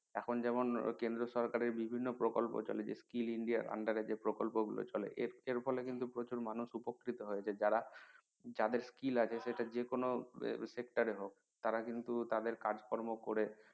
এখন যেরকম কেন্দ্র সরকারের বিভিন্ন প্রকল্প চলে যে skill ইন্ডিয়ার under এ যে প্রকল্প গুলো চলে এর ফলে কিন্তু প্রচুর মানুষ কিন্তু উপকৃত হয় যাদের যারা যাদের skill আছে সেটা যেকোনো sector এ হোক তারা কিন্তু তাদের কাজ কর্ম করে